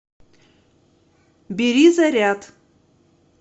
бери заряд